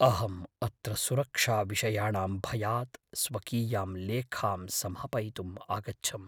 अहम् अत्र सुरक्षाविषयाणां भयात् स्वकीयां लेखां समापयितुम् आगच्छम्।